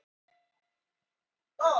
ílátin hitna aðeins vegna varmans frá matnum